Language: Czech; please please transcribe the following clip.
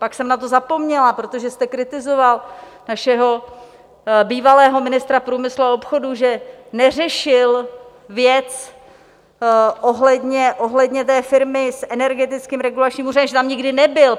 Pak jsem na to zapomněla, protože jste kritizoval našeho bývalého ministra průmyslu a obchodu, že neřešil věc ohledně té firmy s Energetickým regulačním úřadem, že tam nikdy nebyl.